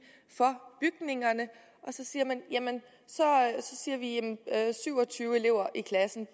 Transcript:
for bygningerne og så siger vi jamen syv og tyve elever i klassen